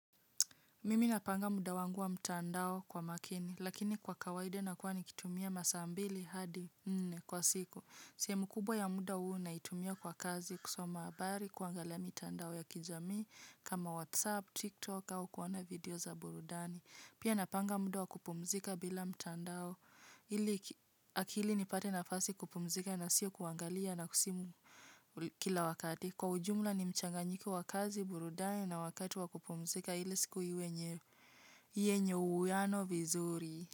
Mimi napanga muda wangu wa mtandao kwa makini, lakini kwa kawaida nakuwa nikitumia masaa mbili hadi nne kwa siku. Sehemu kubwa ya muda huu naitumia kwa kazi kusoma habari, kuangalia mitandao ya kijamii kama WhatsApp, TikTok au kuona video za burudani. Pia napanga muda wa kupumzika bila mtandao ili akili nipate nafasi kupumzika na sio kuangalia na simu kila wakati. Kwa ujumla ni mchanganyiko wa kazi, burudani na wakati wa kupumzika ili siku iwe yenye uwiano vizuri.